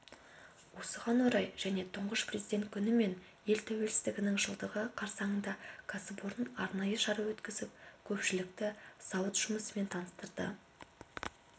осыған орай және тұңғыш президент күні мен ел тәуелсіздігінің жылдығы қарсаңында кәсіпорын арнайы шара өткізіп көпшілікті зауыт жұмысымен таныстырды